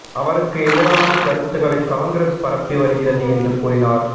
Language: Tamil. அவருக்கு எதிரான கருத்துக்களை காங்கிரஸ் பரப்பி வருகிறது என்று கூறினார்